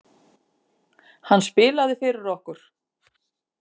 Hann spilaði fyrir okkur!